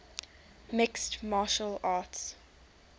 mixed martial arts